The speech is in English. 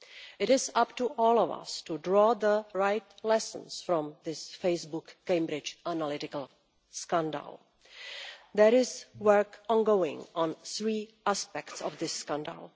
It is up to all of us to draw the right lessons from this Facebook Cambridge Analytica scandal. There is work ongoing on three aspects of this scandal.